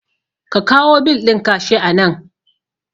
Ka kawo bil ɗin ka shi anan